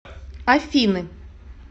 афины